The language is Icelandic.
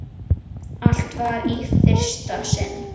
eftir Erlend Jónsson